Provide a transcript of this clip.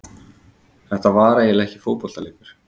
Það var eiginlega ekki fótboltaleikur.